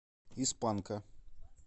из панка